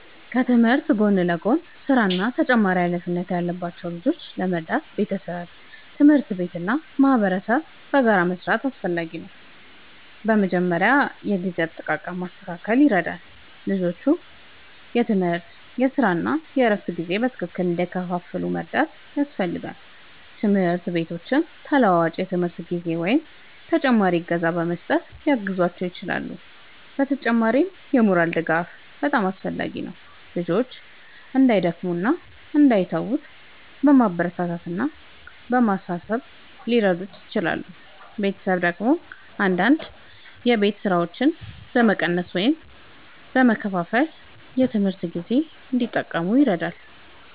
ከትምህርት ጎን ለጎን ሥራ እና ተጨማሪ ኃላፊነት ያለባቸው ልጆችን ለመርዳት ቤተሰብ፣ ትምህርት ቤት እና ማህበረሰብ በጋራ መስራት አስፈላጊ ነው። በመጀመሪያ የጊዜ አጠቃቀም ማስተካከል ይረዳል፤ ልጆቹ የትምህርት፣ የሥራ እና የእረፍት ጊዜ በትክክል እንዲከፋፈል መርዳት ያስፈልጋል። ትምህርት ቤቶችም ተለዋዋጭ የትምህርት ጊዜ ወይም ተጨማሪ እገዛ በመስጠት ሊያግዟቸው ይችላሉ። በተጨማሪም የሞራል ድጋፍ በጣም አስፈላጊ ነው፤ ልጆቹ እንዳይደክሙ እና እንዳይተዉ በማበረታታት እና በማሳሰብ ሊረዱ ይችላሉ። ቤተሰብ ደግሞ አንዳንድ የቤት ሥራዎችን በመቀነስ ወይም በመከፋፈል የትምህርት ጊዜ እንዲጠብቁ ይረዳል።